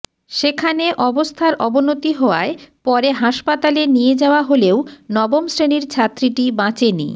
সেখানে অবস্থার অবনতি হওয়ায় পরে হাসপাতালে নিয়ে যাওয়া হলেও নবম শ্রেণির ছাত্রীটি বাঁচেনি